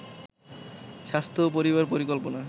স্বাস্থ্য ও পরিবার পরিকল্পনা